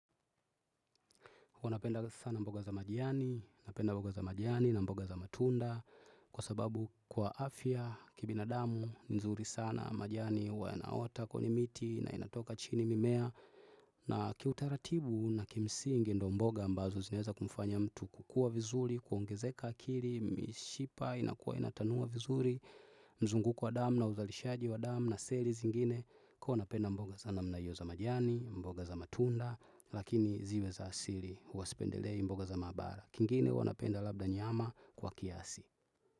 Kuwa napenda sana mboga za majani, napenda mboga za majani na mboga za matunda, kwa sababu kwa afya, kibinadamu, nzuri sana, majani, huwa yanaota kwenye miti, na inatoka chini mimea, na kiutaratibu na kimsingi ndo mboga ambazo zinaeza kumfanya mtu kukua vizuri, kuongezeka akili, mishipa, inakua inatanua vizuri, mzunguko wa damu na uzalishaji wa damu na seli zingine, kuwa napenda mboga za namna iyo za majani, mboga za matunda, lakini ziwe za asili. Huwasipendelei mboga za mahabara kingine hua napenda labda nyama kwa kiasi.